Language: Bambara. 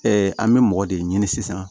an bɛ mɔgɔ de ɲini sisan